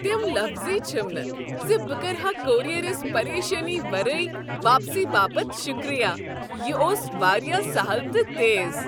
تِم لفظٕے چھِم نہ زِ بہ کرٕ ہا کوریرس پریشانی ورٲے واپسی باپت شکریہ ۔ یہ اوس واریاہ سہل تہٕ تیز۔